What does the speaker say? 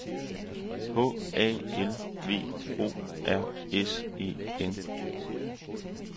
H A L V O R S E N